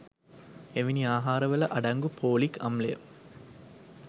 එවැනි ආහාරවල අඩංගු පෝලික් අම්ලය